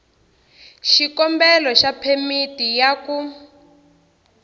xikombelo xa phemiti ya ku